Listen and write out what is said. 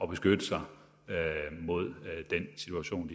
beskytte sig mod den situation